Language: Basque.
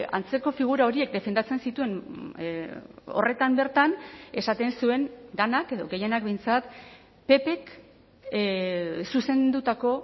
antzeko figura horiek defendatzen zituen horretan bertan esaten zuen denak edo gehienak behintzat ppk zuzendutako